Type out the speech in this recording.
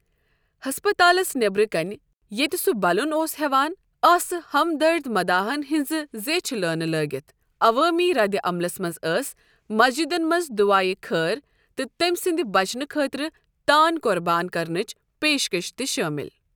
ہَسپَتالس نیٚبرٕ کنہِ ییٚتہِ سُہ بَلُن اوس ہٮ۪وان، آسہٕ ہمدَرد مداحن ہٕنٛز زیٖچھہِ لٲنہٕ لٔگِتھ، عوٲمی ردِعملس منٛز ٲسۍ مسجدن منٛز دُعایہِ خٲر تہٕ تٔمۍ سٕنٛدِ بچنہٕ خٲطرٕ تان قۄربان کرنٕچ پیشکش تہِ شٲمِل۔